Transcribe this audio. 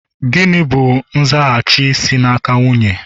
Gịnị bụ nzaghachi si n'aka nwunye?